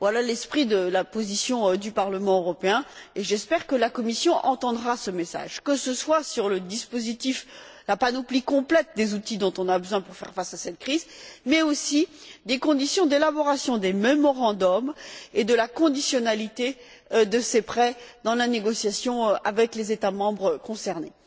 Voilà l'esprit de la position du Parlement européen, et j'espère que la Commission entendra ce message, que ce soit sur le dispositif, la panoplie complète des outils dont on a besoin pour faire faire face à cette crise, ou sur les conditions d'élaboration des mémorandums et la conditionnalité de ces prêts dans la négociation avec les États membres concernés.